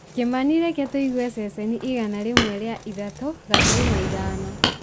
kĩmani reke tũigue ceceni igana rĩmwe ria ithatũ gaturumo ithano